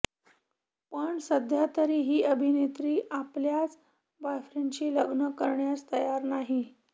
पण सध्यातरी ही अभिनेत्री आपल्याच बॉयफ्रेंडशी लग्न करण्यास तयार नाही